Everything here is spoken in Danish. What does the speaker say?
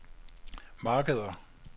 markeder